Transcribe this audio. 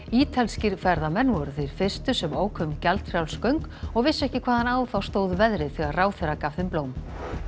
ítalskir ferðamenn voru þeir fyrstu sem óku um gjaldfrjáls göng og vissu ekki hvaðan á þá stóð veðrið þegar ráðherra gaf þeim blóm